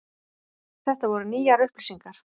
Þetta voru nýjar upplýsingar.